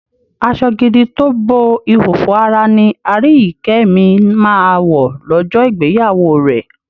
Aṣọ gidi tó bo ìhòòhò ara ni Aríyìíkẹ́ mi máa wọ̀ lọ́jọ́ ìgbéyàwó rẹ̀.